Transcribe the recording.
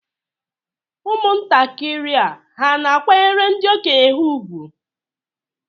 Ụmụntakịrị hà na-akwanyere ndị okenye ha ùgwù?